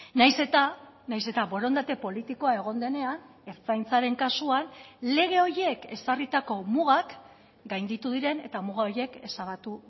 nahiz eta nahiz eta borondate politikoa egon denean ertzaintzaren kasuan lege horiek ezarritako mugak gainditu diren eta muga horiek ezabatu